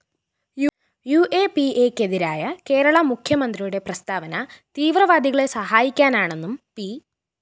യുഎപിഎക്കെതിരായ കേരള മുഖ്യമന്ത്രിയുടെ പ്രസ്താവന തീവ്രവാദികളെ സഹായിക്കാനാണെന്നും പി